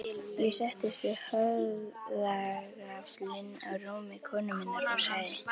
Ég settist við höfðagaflinn á rúmi konu minnar og sagði